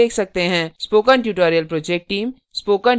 spoken tutorial project team